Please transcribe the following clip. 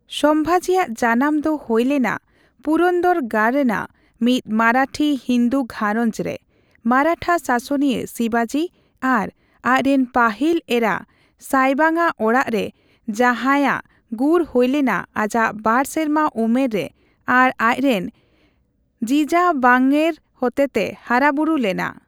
ᱥᱚᱢᱵᱷᱟᱡᱤᱭᱟᱜ ᱡᱟᱱᱟᱢ ᱰᱚ ᱦᱩᱭᱵᱞᱮᱱᱟ ᱯᱩᱨᱚᱱᱫᱚᱨ ᱜᱟᱲ ᱨᱮᱱᱟᱜ ᱢᱤᱫ ᱢᱟᱨᱟᱴᱷᱤ ᱦᱤᱱᱫᱩ ᱜᱷᱟᱨᱚᱧᱡᱽ ᱨᱮ ᱢᱟᱨᱟᱴᱷᱟ ᱥᱟᱥᱚᱱᱤᱭᱟᱹ ᱥᱤᱵᱟᱡᱤ ᱟᱨ ᱟᱡ ᱨᱮᱱ ᱯᱟᱹᱦᱤᱞ ᱮᱨᱟ ᱥᱟᱭᱵᱟᱝ ᱟᱜ ᱚᱲᱟᱜ ᱨᱮ, ᱡᱟᱸᱦᱟᱭᱟᱜ ᱜᱩᱨ ᱦᱩᱭ ᱞᱮᱱᱟ ᱟᱡᱟᱜ ᱵᱟᱨ ᱥᱮᱨᱢᱟ ᱩᱢᱮᱨ ᱨᱮ ᱟᱨ ᱟᱡ ᱨᱮᱱ ᱡᱤᱡᱟᱵᱟᱝᱭᱮᱨ ᱦᱚᱛᱮᱛᱮ ᱦᱟᱨᱟᱵᱩᱨᱩ ᱞᱮᱱᱟ ᱾